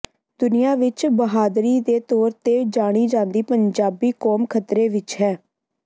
ਦੁਨੀਆ ਵਿੱਚ ਬਹਾਦਰੀ ਦੇ ਤੌਰ ਤੇ ਜਾਣੀ ਜਾਂਦੀ ਪੰਜਾਬੀ ਕੌਮ ਖ਼ਤਰੇ ਵਿੱਚ ਹੈ